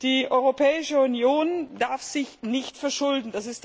Die Europäische Union darf sich nicht verschulden.